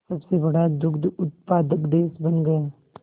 सबसे बड़ा दुग्ध उत्पादक देश बन गया